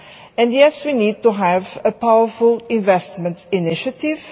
and yes, we need to have a powerful investment initiative.